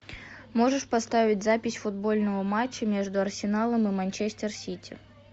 можешь поставить запись футбольного матча между арсеналом и манчестер сити